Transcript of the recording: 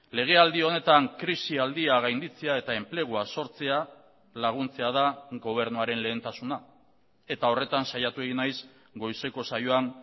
legealdi honetan krisialdia gainditzea eta enplegua sortzea laguntzea da gobernuaren lehentasuna eta horretan saiatu egin naiz goizeko saioan